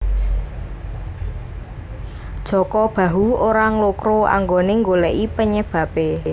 Jaka Bahu ora nglokro anggone nggoleki penyebabe